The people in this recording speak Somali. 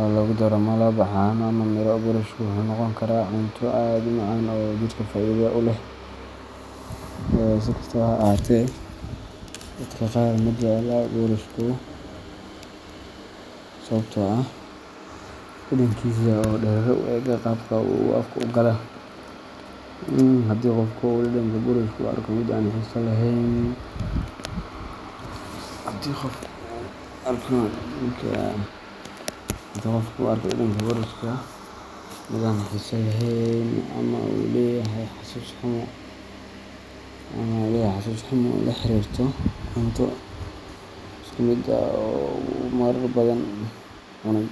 oo lagu daro malab, caano, ama miro, boorashku wuxuu noqon karaa cunto aad u macaan oo jidhka faa’iido u leh. Si kastaba ha ahaatee, dadka qaar ma jecla boorash sababtoo ah dhadhankiisa oo dareere u eg ama qaabka uu afka u galay. Haddii qofka uu dhadhanka boorashka u arko mid aan xiiso lahayn ama uu leeyahay xasuus xumo la xiriirta cunto isku mid ah oo uu marar badan cunay.